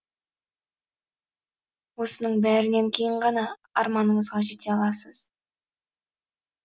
осының бәрінен кейін ғана арманыңызға жете аласыз